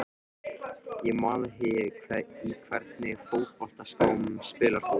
Ég man það ekki Í hvernig fótboltaskóm spilar þú?